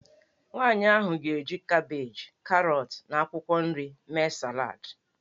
Nwaanyị ahụ ga-eji kabeeji, karọt, na akwụkwọ nri mee salad.